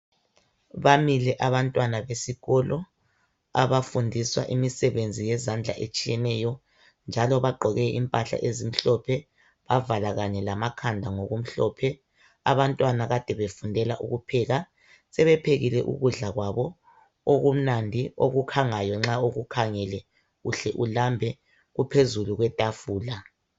Bamile abantwana besiko abafundiswa imisebenzi yezandla etshiyeneyo njalo bagqoke impahla ezimhlophe, bavala kanye lamakhanda ngokumhlophe. Abantwana kade befundela ukupheka. Sebephekile ukudla kwabo okumnandi, okukhangayo, nxa ukukhangele uhle ulambe, kuphezulu kwetafula.